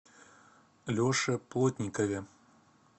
леше плотникове